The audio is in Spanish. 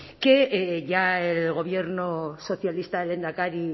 que ya el gobierno socialista del lehendakari